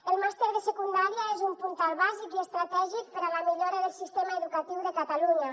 el màster de secundària és un puntal bàsic i estratègic per a la millora del sistema educatiu de catalunya